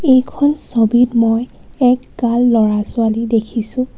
এইখন ছবিত মই একগাল ল'ৰা ছোৱালী দেখিছোঁ.